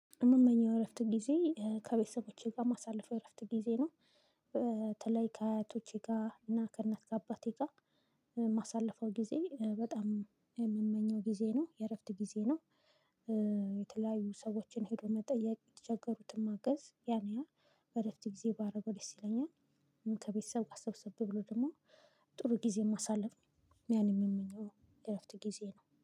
እምመኘው የእረፍት ጊዜ ከቤተሰቦቼ ጋር እማሳለፈው የእረፍት ጊዜ ነው። በተለይ ከአያቶቼ ጋር እና ከእናት ከአባቴ ጋር። የማሳልፈው ጊዜ በጣም የምመኘው ጊዜ ነው የእረፍት ጊዜ ነው። የተለያዩ ሰዎችን ሄዶ መጠየቅ የተቸገሩትን ማገዝ ያንያን በእረፍት ጊዜ ባረገው ደስ ይለኛል። ከቤተሰብ ጋር ሰብሰብ ብሎ ደግሞ ጥሩ ጊዜ የማሳልፍ ያን ነው እምመኘው። የእረፍት ጊዜ ነው